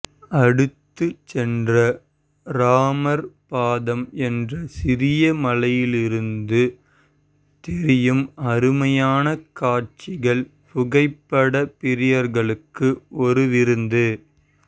அடுத்து சென்ற இராமர் பாதம் என்ற சிறிய மலையிலுருந்து தெரியும் அருமையான காட்சிகள் புகைப்பட பிரியர்களுக்கு ஒரு விருந்து